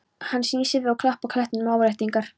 Hann snýr sér við og klappar klettinum til áréttingar.